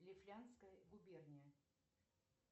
лифляндская губерния